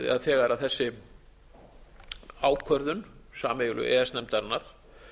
þegar þessi ákvörðun sameiginlegu e e s nefndarinnar